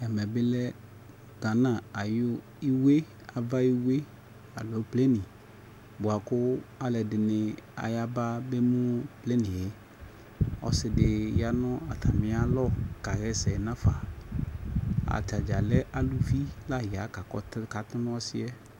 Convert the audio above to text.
Ɛmɛ bi lɛ Gana ayʋ iwe, ava yi iwe aloo pleni boa kʋ alʋɛdini ayaba bemu pleni yɛ Ɔsi di ya nʋ atami alɔ kaɣɛsɛ n'afa Atadza lɛ alʋvi laɣa kakatʋ nʋ ɔsi yɛ